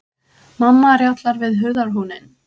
Mamma rjátlar við hurðarhúninn.